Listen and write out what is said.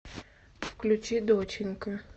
включи доченька